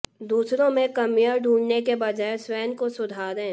दूसरों में कमियां ढूंढने के बजाय स्वयं को सुधारें